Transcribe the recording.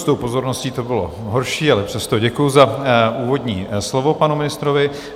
S tou pozorností to bylo horší, ale přesto děkuji za úvodní slovo panu ministrovi.